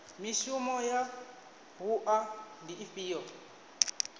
mishumo ya wua ndi ifhio